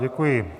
Děkuji.